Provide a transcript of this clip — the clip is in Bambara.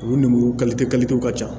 U nɛnburu kalite kalitew ka ca